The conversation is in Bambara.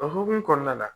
O hokumu kɔnɔna la